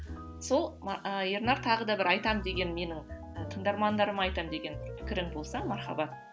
сол ернар тағы да бір айтам деген менің і тыңдармандарыма айтам деген пікірің болса мархабат